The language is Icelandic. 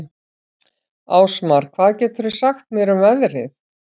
Ásmar, hvað geturðu sagt mér um veðrið?